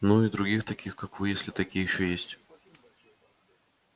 ну и других таких как вы если такие ещё есть